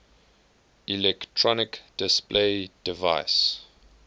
electronic display device